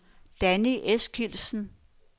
Danni Eskildsen